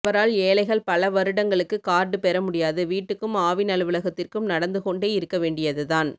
அவரால் ஏழைகள் பல வருடங்களுக்கு கார்டு பெறமுடியாது வீட்டுக்கும் ஆவின் அலுவலகத்திற்கும் நடந்து கொண்டே இருக்கவேண்டியதுதான்